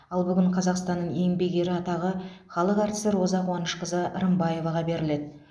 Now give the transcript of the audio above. ал бүгін қазақстанның еңбек ері атағы халық әртісі роза қуанышқызы рымбаеваға беріледі